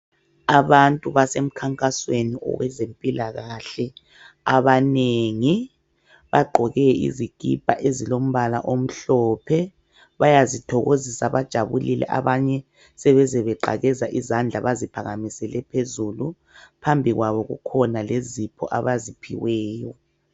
Abantu basemkhankasweni owezempilakahle. Abanengi bagqoke izikipa ezilombala omhlophe, bayazithokozisa bajabule abanye sebeze beqakeza izandla baziphakamisele phazulu. Phambi kwabo kukhona lezipho abaziphiweyo.